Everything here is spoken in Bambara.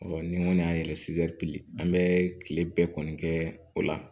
ni n kɔni y'a yɛrɛ an bɛ kile bɛɛ kɔni kɛ o la